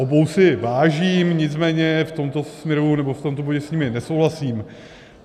Obou si vážím, nicméně v tomto směru, nebo v tomto bodě, s nimi nesouhlasím.